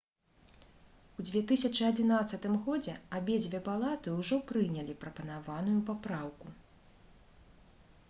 у 2011 годзе абедзве палаты ўжо прынялі прапанаваную папраўку